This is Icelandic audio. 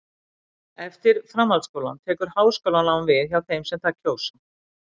eftir framhaldsskólann tekur háskólanám við hjá þeim sem það kjósa